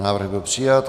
Návrh byl přijat.